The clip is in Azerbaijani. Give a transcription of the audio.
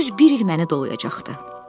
Düz bir il məni dolayacaqdı.